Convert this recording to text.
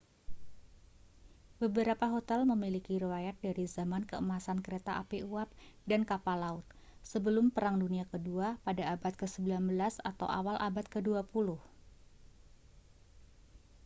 beberapa hotel memiliki riwayat dari zaman keemasan kereta api uap dan kapal laut sebelum perang dunia kedua pada abad ke-19 atau awal abad ke-20